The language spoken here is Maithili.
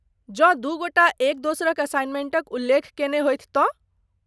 जँ दू गोटा एक दोसरक असाइनमेंटक उल्लेख कयने होथि तँ?